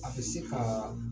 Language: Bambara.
A be se kaa